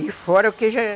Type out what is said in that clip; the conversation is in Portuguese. E fora o que já é.